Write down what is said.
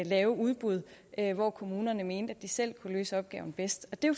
lave udbud når kommunerne mente at de selv kunne løse opgaven bedst det er